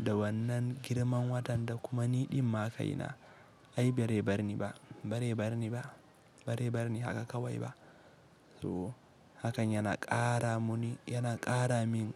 --da wannan girman watan da kuma ni ɗinma ka ina. Ai bare barni ba, bare barni ba, bare barni haka kawai ba. So hakan yana ƙara muni,-- yana ƙara min